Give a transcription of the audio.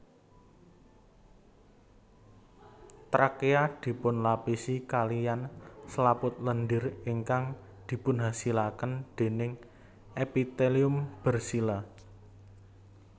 Trakea dipunlapisi kaliyan selaput lendir ingkang dipunhasilaken déning epitelium bersila